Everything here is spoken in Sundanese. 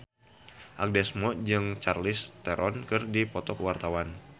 Agnes Mo jeung Charlize Theron keur dipoto ku wartawan